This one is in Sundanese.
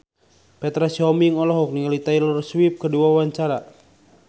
Petra Sihombing olohok ningali Taylor Swift keur diwawancara